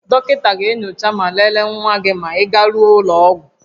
Dọkịta ga-enyocha ma lelee nwa gị ma ị garuo ụlọ ọgwụ